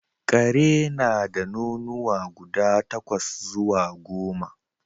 Ƙare na da nonuwa guda takwas zuwa goma